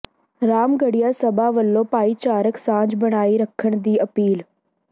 ਰਾਮਗੜ੍ਹੀਆ ਸਭਾ ਵੱਲੋਂ ਭਾਈਚਾਰਕ ਸਾਂਝ ਬਣਾਈ ਰੱਖਣ ਦੀ ਅਪੀਲ